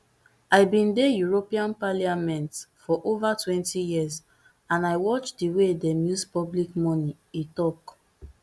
i bin dey european parliament for ova twenty years and i watch di way dem use public money e tok